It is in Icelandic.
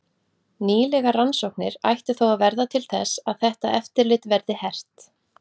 Nýlegar rannsóknir ættu þó að verða til þess að þetta eftirlit verði hert.